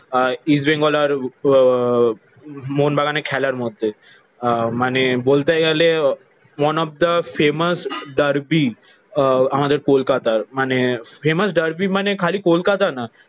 আহ ইস্টবেঙ্গল আর আহ মোহনবাগান খেলার মধ্যে। আহ মানে বলতে গেলে one of the famous derby আহ আমাদের কলকাতার। মানে ফেমাস ডার্বি মানে খালি কলকাতা না